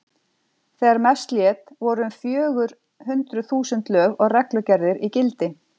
Þegar mest lét voru um fjögur hundruð þúsund lög og reglugerðir í gildi.